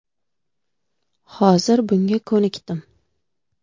Hozir bunga ko‘nikdim.